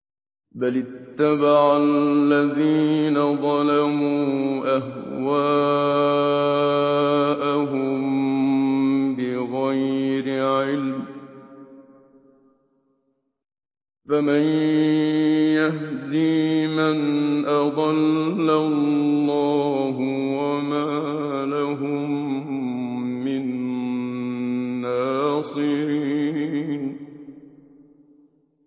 بَلِ اتَّبَعَ الَّذِينَ ظَلَمُوا أَهْوَاءَهُم بِغَيْرِ عِلْمٍ ۖ فَمَن يَهْدِي مَنْ أَضَلَّ اللَّهُ ۖ وَمَا لَهُم مِّن نَّاصِرِينَ